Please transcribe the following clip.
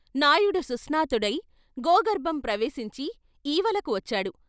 నాయుడు సుస్నాతుడై గోగర్భం ప్రవేశించి ఈవలకు వచ్చాడు.